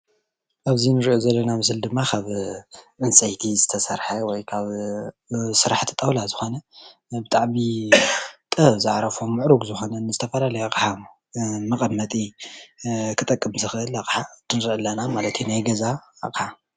ኣብዚ እንሪኦ ዘለና ምስሊ ድማ ካብ ዕንፀይቲ ዝተሰርሐ ወይ ካብ ስራሕቲ ጣዉላ ዝኾነ እና ብጣዕሚ ጥበብ ዝዓረፎ ምዕሩግ ዝኾነ ዝተፈላለዩ ኣቕሓ መቐመጢ ክጠቅም ዝኽእል ኣቕሓ እዩ ዘሎና ማለት ዩ ናይ ገዛ ኣቕሓ።